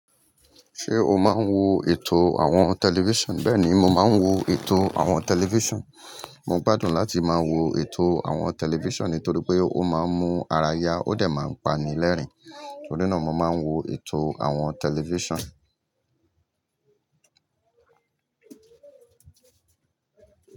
Ṣé o máa ń wo ètò àwọn tẹlifíṣàn? Bẹ́ẹ̀ni, mo máa ń wo ètò àwọn tẹlifíṣàn. Mo gbádùn láti máa wo ètò àwọn tẹlifíṣàn nítorí pé ó máa ń mú ara ya ó dẹ̀ máa ń pani lẹ́rìn-ín. Nítorí náà, mo máa ń wo ètò àwọn tẹlifíṣàn.